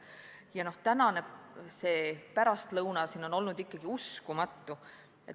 Ja tänane pärastlõuna siin on olnud ikkagi uskumatu.